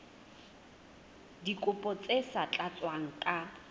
dikopo tse sa tlatswang ka